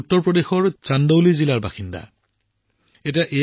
এয়া হৈছে উত্তৰ প্ৰদেশৰ চান্দৌলি জিলাৰ বাসিন্দা মদন মোহন লালজী